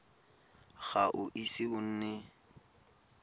ga o ise o nne